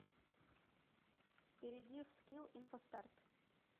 перейди в скилл инфостарт